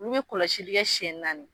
Olu be kɔlɔsili kɛ siɲɛ naani.